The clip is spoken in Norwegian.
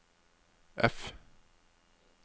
F